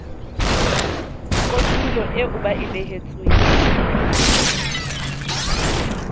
kotulo eo ba e behetsweng